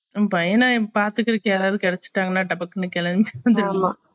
என் பையனை பாத்துகருக்கு யாராவது கேடச்சுடாங்கனா டபக்குனு